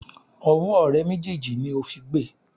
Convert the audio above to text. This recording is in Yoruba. Ọwọ́ rẹ méjèèjì ni ó fi gbe!